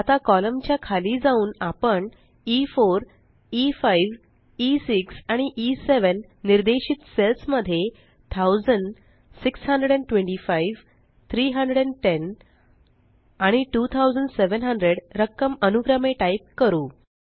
आता कॉलम च्या खाली जाऊन आपण e4e5ई6 आणि ई7 निर्देशित सेल्स मध्ये 1000625310 आणि 2700 रक्कम अनुक्रमे टाइप करू